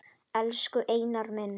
Elsku Einar minn.